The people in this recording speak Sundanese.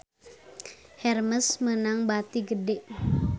Hermes meunang bati gede